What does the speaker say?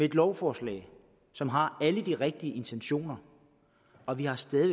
et lovforslag som har alle de rigtige intentioner og vi har stadig